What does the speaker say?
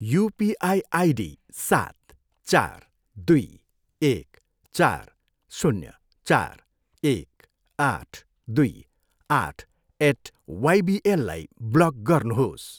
UPI ID सात, चार, दुई, एक, चार, शून्य, चार, एक, आठ, दुई, आठ एट वाइबिएललाई ब्लक गर्नुहोस्।